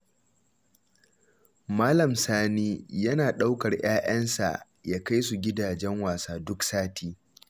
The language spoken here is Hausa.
Malam Sani yana ɗaukar ƴaƴansa ya kai su gidajen wasa duk sati.